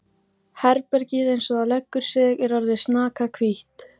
Herbergið eins og það leggur sig er orðið snakahvítt!